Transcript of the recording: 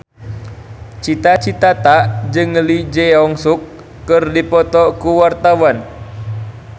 Cita Citata jeung Lee Jeong Suk keur dipoto ku wartawan